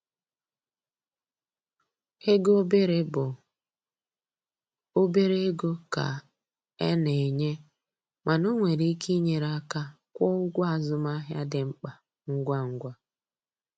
Ego obere bụ obere ego ka e na-enye, mana o nwere ike inyere aka kwụọ ụgwọ azụmahịa dị mkpa ngwa ngwa.